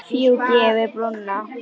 Fjúki yfir brúna.